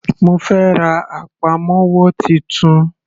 Mo fẹ́ ra àpamọ́wọ́ titun.